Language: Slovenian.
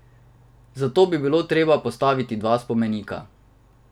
Zato bi bilo treba postaviti dva spomenika.